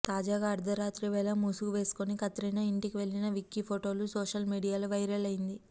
తాజాగా అర్థరాత్రి వేళ ముసుగు వేసుకొని కత్రినా ఇంటికి వెళ్లిన విక్కీ ఫోటోలు సోషల్ మీడియాలో వైరల్ అయింది